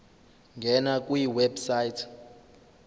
ngena kwi website